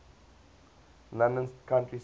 london county council